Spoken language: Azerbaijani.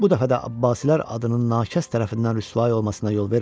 Bu dəfə də Abbasilər adının nakəst tərəfindən rüsvay olmasına yol vermə.